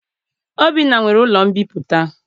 Obinna nwere ụlọ mbipụta.